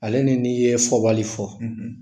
Ale ni n'i ye fɔbali fɔ.